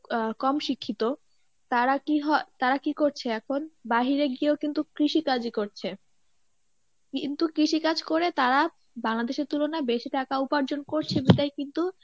আহ কম শিক্ষিত তারা কি হ~ তারা কি করছে এখন বাইরে গিয়েও কিন্তু কৃষিকাজি করছে কিন্তু কৃষিকাজ করে তারা বাংলাদেশের তুলনায় বেশি টাকা উপার্জন করছে তাই কিন্তু